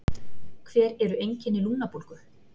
Hver eru einkenni lungnabólgu?